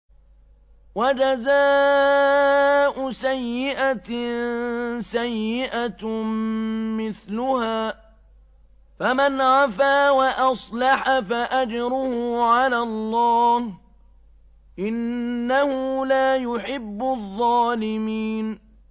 وَجَزَاءُ سَيِّئَةٍ سَيِّئَةٌ مِّثْلُهَا ۖ فَمَنْ عَفَا وَأَصْلَحَ فَأَجْرُهُ عَلَى اللَّهِ ۚ إِنَّهُ لَا يُحِبُّ الظَّالِمِينَ